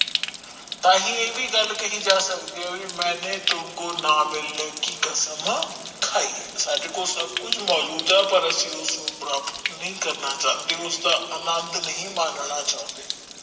ਤਾਹਿ ਇਹ ਵੀ ਗੱਲ ਕਹਿ ਜਾ ਸਕਦੀ ਆ ਕਿ ਮੇਨੇ ਤੁਮਕੋ ਨਾ ਮਿਲਨੇ ਕਿ ਕਸਮ ਖਾਇ ਹੈ ਸਾਡੇ ਕੋਲ ਸਬ ਕੁਛ ਮੌਜੂਦ ਆ ਪਰ ਅਸੀਂ ਪ੍ਰਾਪਤ ਨੀ ਕਰਨਾ ਚੰਦੇ ਓਸਦਾ ਆਨੰਦ ਨਹੀਂ ਮਨਣਾ ਚੌਂਦੇ।